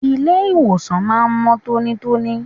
Ilé ìwòsàn máa ń mọ́ tónítóní.